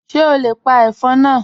Ṣe o le pa ẹfọn naa?